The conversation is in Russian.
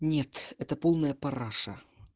нет это полная параша